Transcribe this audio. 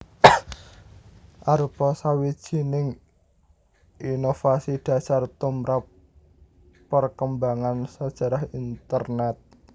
arupa sawijining inovasi dhasar tumrap perkembangan sajarah Internèt